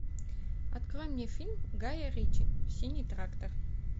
открой мне фильм гая ричи синий трактор